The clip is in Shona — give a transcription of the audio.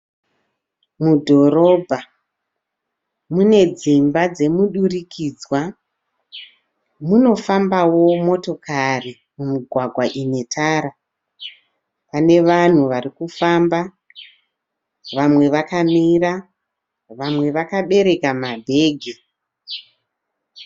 Mudhorobha, mune dzimba dzemudurikidzwa, munofambawo motokari mumugwagwa ine tara. Pane vanhu varikufamba, vamwe vakamira, vamwe vakabereka mabhegi.